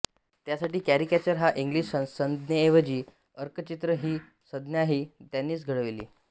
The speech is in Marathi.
त्यासाठी कॅरिकॅचर ह्या इंग्लिश संज्ञेऐवजी अर्कचित्र ही संज्ञाही त्यांनीच घडवली